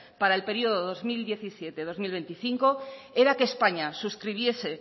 para el periodo dos mil diecisiete dos mil veinticinco era que españa suscribiese